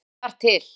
Ég þekki þar til.